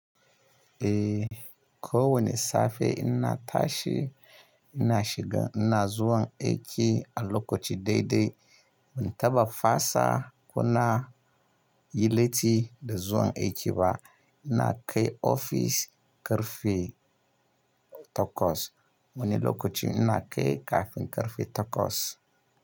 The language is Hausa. Eh, ko wani safe ina tashi ina shiga ina zuwan aiki a lokaci daidai. Ban taɓa fasa ko na yi latti da zuwan aiki ba. Ina kai ofis ƙarfe takwas. Wani lokaci ina kai kafin ƙarfe takwas.